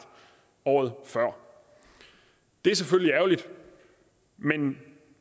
året før det er selvfølgelig ærgerligt men